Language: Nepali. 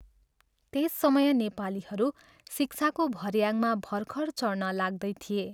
त्यस समय नेपालीहरू शिक्षाको भऱ्याङमा भर्खर चढ्न लाग्दै थिए।